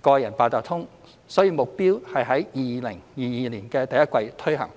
個人八達通卡，所以目標是在2022年第一季推行。